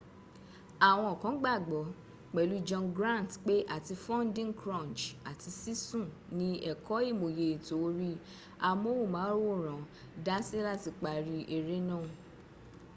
àwọn kan gbàgbọ́ pẹ̀lú john grant pé àti funding crunch àti sísún ní ẹ̀kọ́ ìmòye ètò orí amóhùnmáwòrán dási láti parí eré náà